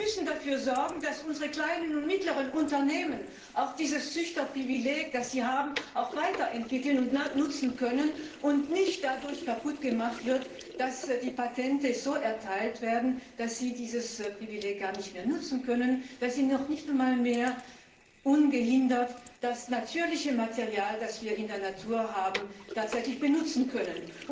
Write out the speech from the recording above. Wir müssen dafür sorgen, dass unsere kleinen und mittleren Unternehmen dieses Züchterprivileg, das sie haben, auch weiterentwickeln und nutzen können, und dass es nicht dadurch kaputtgemacht wird, dass die Patente so erteilt werden, dass sie dieses Privileg gar nicht mehr nutzen können, dass sie nicht einmal mehr ungehindert das natürliche Material, das wir in der Natur haben, tatsächlich nutzen können.